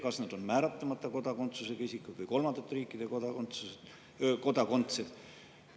Kas nad on määratlemata kodakondsusega isikud või kolmandate riikide kodakondsed?